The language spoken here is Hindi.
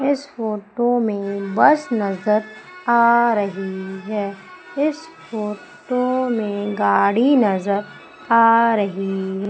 इस फोटो में बस नजर आ रही है इस फोटो में गाड़ी नजर आ रही--